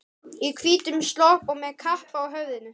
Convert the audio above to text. Í hvítum slopp og með kappa á höfðinu.